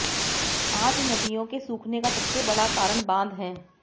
आज नदियों के सूखने का सबसे बड़ा कारण बांध हैं